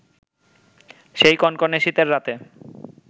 সেই কনকনে শীতের রাতে